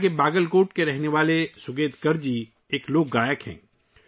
یہاں کے باگل کوٹ کے رہنے والے سوگیتکر جی ایک لوک گلوکار ہیں